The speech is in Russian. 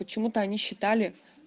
почему-то они считали